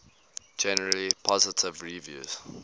generally positive reviews